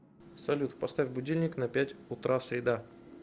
салют поставь будильник на пять утра среда